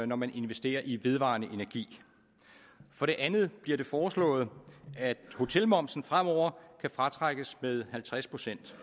når man investerer i vedvarende energi for det andet bliver det foreslået at hotelmomsen fremover kan fratrækkes med halvtreds procent